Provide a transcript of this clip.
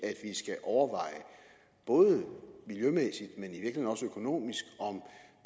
skal overveje både miljømæssigt og